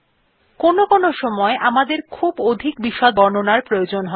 কোনো কোনো সময় আমাদের খুব অধিক বিশদ বর্ণনার প্রয়োজন থাকে না